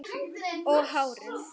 Og hárið.